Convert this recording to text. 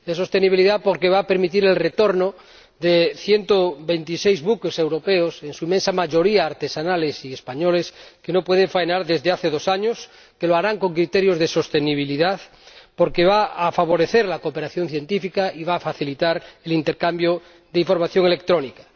De sostenibilidad, porque va a permitir el retorno de ciento veintiséis buques europeos, en su inmensa mayoría artesanales y españoles, que no pueden faenar desde hace dos años, y que lo harán con criterios de sostenibilidad, porque va a favorecer la cooperación científica y va a facilitar el intercambio de información electrónica.